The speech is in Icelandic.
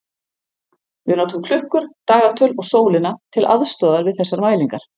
Við notum klukkur, dagatöl og sólina til aðstoðar við þessar mælingar.